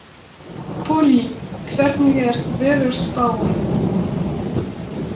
Pollý, hvernig er veðurspáin?